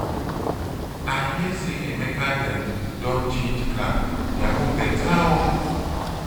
i hear say emeka dem don change car their own beta oo.